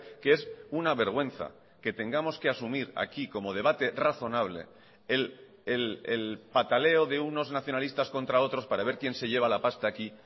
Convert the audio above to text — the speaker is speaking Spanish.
que es una vergüenza que tengamos que asumir aquí como debate razonable el pataleo de unos nacionalistas contra otros para ver quién se lleva la pasta aquí